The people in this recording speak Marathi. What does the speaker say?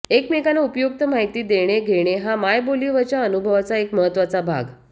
एकमेकांना उपयुक्त माहिती देणे घेणे हा मायबोलीवरच्या अनुभवाचा एक महत्वाचा भाग